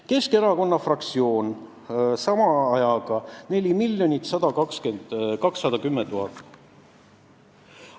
Keskerakonna fraktsioon kulutus sama ajaga 4 210 000 eurot.